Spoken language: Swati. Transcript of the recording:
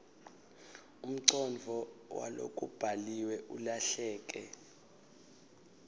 umcondvo walokubhaliwe ulahleke